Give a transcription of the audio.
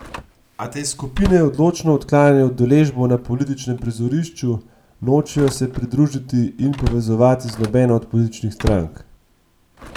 A te skupine odločno odklanjajo udeležbo na političnem prizorišču, nočejo se pridružiti in povezovati z nobeno od političnih strank.